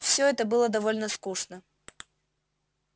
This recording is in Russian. всё это было довольно скучно